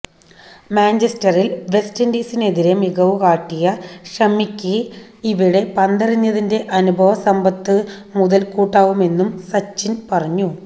മാഞ്ചസ്റ്ററില് West ഇന്ഡീസിനെതിരെ മികവു കാട്ടിയ ഷമിക്ക് ഇവിടെ പന്തെറിഞ്ഞതിന്റെ അനുഭവസമ്പത്ത് മുതല്ക്കൂട്ടാവുമെന്നും സച്ചിന് പറഞ്ഞു